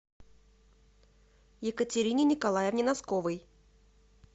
екатерине николаевне носковой